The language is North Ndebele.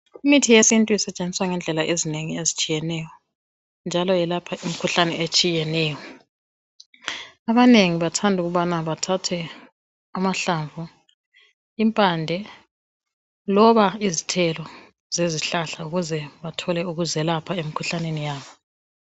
Imithi yesintu isetshenziswa ngendlela ezinengi ezitshiyeneyo njalo yelapha imikhuhlane etshiyeneyo. Abanengi bathanda ukubana bathathe amahlamvu impande loba izithelo zezihlahla ukuze bathole ukuzelapha emikhuhlaneni yabo.